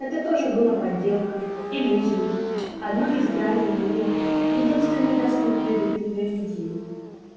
это тоже было подделкой иллюзией одной из граней мира единственной доступной для для людей